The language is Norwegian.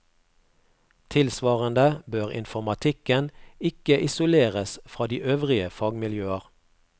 Tilsvarende bør informatikken ikke isoleres fra de øvrige fagmiljøer.